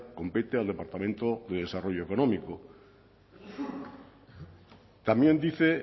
compete al departamento de desarrollo económico también dice